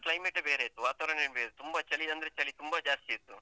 Climate ಯೇ ಬೇರೆ ಇತ್ತು ವಾತಾವರಣವೆ ಬೇರೆ ಇತ್ತು ತುಂಬ ಚಳಿ ಅಂದ್ರೆ ಚಳಿ ತುಂಬ ಜಾಸ್ತಿ ಇತ್ತು.